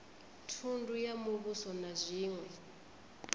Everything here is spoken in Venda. thundu ya muvhuso na zwiṅwe